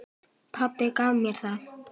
Pabbi gaf mér það.